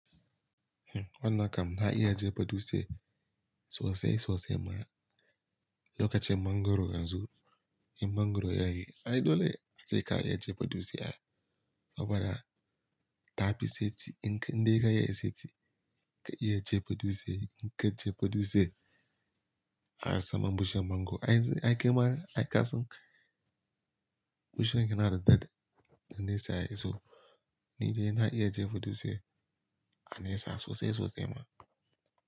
Hmm wannan kam na iya jefa dutse sosai sosai ma. Lokacin mangwaro yanzu, in mangwaro ya yi, ai dole ka je ka iya je ka jefa dutse a, saboda ta fi seti. In kai dai ka iya seti, ka iya jefa dutse. In ka jefa dutse, a sama bushiyan mango ai, ai kema ai ka san bushiyan yana da daɗi da nesa. Yanzu ni dai na iya jefa dutse a nesa sosai sosai ma.